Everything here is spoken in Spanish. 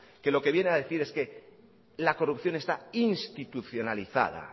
que lo que viene a decir es que la corrupción está institucionalizada